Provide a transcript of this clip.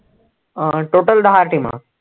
अं total दहा team